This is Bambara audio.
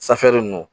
Safinɛ ninnu